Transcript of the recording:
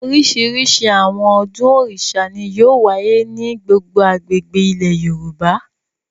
Oríṣiríṣi àwọn ọdún Òrìṣà ni yóò wáyé ní gbogbo agbègbè ilẹ̀ Yorùbá.